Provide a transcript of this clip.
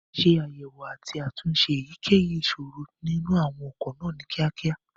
ṣe àyẹ̀wò àti àtúnṣe èyíkéyìí ìṣòro nínú àwọn ọkọ̀ náà ní kíákíá.